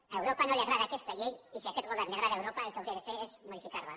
a europa no li agrada aquesta llei i si a aquest govern li agrada europa el que hauria de fer és modificar la